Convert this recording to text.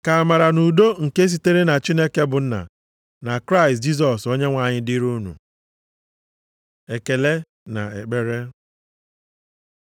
Ka amara na udo nke sitere na Chineke bụ Nna, na Kraịst Jisọs Onyenwe anyị dịrị unu. Ekele na ekpere